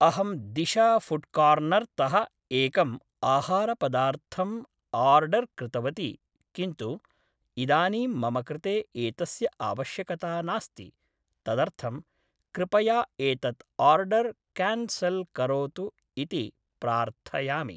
अहं दिशा फ़ुड्‌कार्नर्तः एकम् आहारपदार्थम् आर्डर्‌ कृतवती किन्तु इदानीं मम कृते एतस्य आवश्यकता नास्ति तदर्थं कृपया एतत् आर्डर्‌ क्यान्सल्‌ करोतु इति प्रार्थयामि